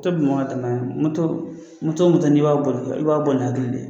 To de mɔɔ dɛmɛ, o n'i b'a boli, i b'a boli ni hakili de ye.